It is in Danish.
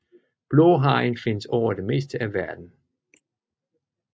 Blåhajen findes over det meste af verden